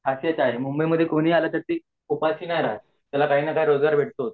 मुंबई मध्ये कोणीही आले तरी उपाशी नाही राहत त्याला काही न काही रोजगार भेट तोच